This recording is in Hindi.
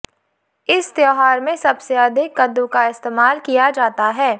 इस त्योहार में सबसे अधिक कद्दू का इस्तेमाल किया जाता है